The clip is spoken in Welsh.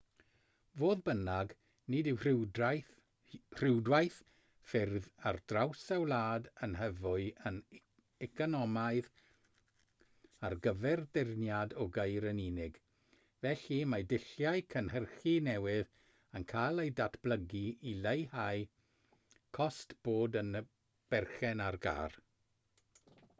fodd bynnag nid yw rhwydwaith ffyrdd ar draws y wlad yn hyfyw yn economaidd ar gyfer dyrniad o geir yn unig felly mae dulliau cynhyrchu newydd yn cael eu datblygu i leihau cost bod yn berchen ar gar